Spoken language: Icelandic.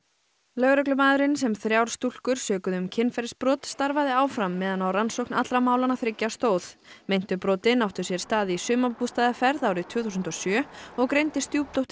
lögreglumaðurinn sem þrjár stúlkur sökuðu um kynferðisbrot starfaði áfram meðan á rannsókn allra málanna þriggja stóð meintu brotin áttu sér stað í sumarbústaðarferð árið tvö þúsund og sjö og greindi